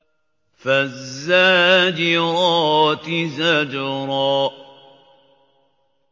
فَالزَّاجِرَاتِ زَجْرًا